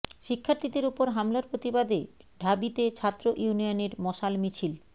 শিক্ষার্থীদের ওপর হামলার প্রতিবাদে ঢাবিতে ছাত্র ইউনিয়নের মশাল মিছিল